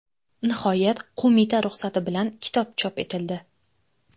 Nihoyat, qo‘mita ruxsati bilan kitob chop etildi.